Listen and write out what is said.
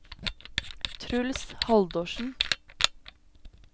Truls Haldorsen